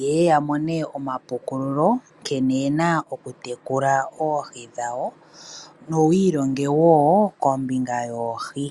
yeye yamone omapukululo nkene yena okutekula oohi dhawo nowi ilonge wo kombinga yoohi.